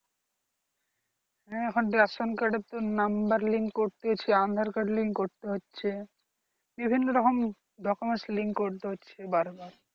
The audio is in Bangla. Ration card এর তো number link করতে হচ্ছে aadhar card link করতে হচ্ছে বিভিন্ন রকম document link করতে হচ্ছে বারবার